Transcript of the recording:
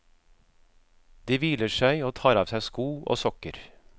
De hviler seg og tar av seg sko og sokker.